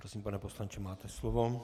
Prosím, pane poslanče, máte slovo.